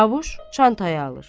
Çavuş çantayı alır.